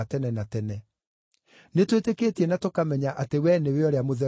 Nĩtwĩtĩkĩtie na tũkamenya atĩ wee nĩwe ũrĩa Mũtheru wa Ngai.”